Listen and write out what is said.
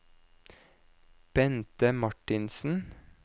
Bente Martinsen